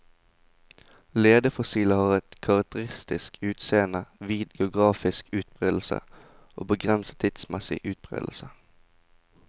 Ledefossiler har et karakterisk utseende, vid geografisk utbredelse og begrenset tidsmessig utbredelse.